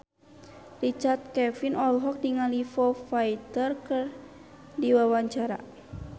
Richard Kevin olohok ningali Foo Fighter keur diwawancara